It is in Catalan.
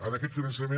en aquest finançament